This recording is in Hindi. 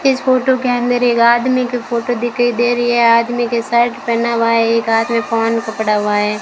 इस फोटो के अंदर एक आदमी की फोटो दिखाई दे रही है आदमी के शर्ट पहना हुआ है एक आदमी फोन पकड़ा हुआ है।